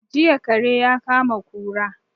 Jiya kare ya kama kura